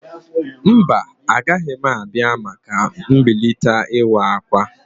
Mba, agaghị m abịa maka mmalite ịwa akwa.